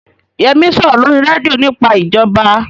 Yẹmí ń sọ̀rọ̀ lórí rédíò nípa ìjọba